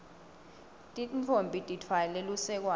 tintfombi titfwale lusekwane